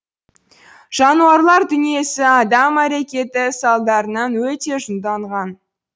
жануарлар дүниесі адам әрекеті салдарынан өте жұңданған